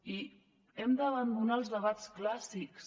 i hem d’abandonar els debats clàssics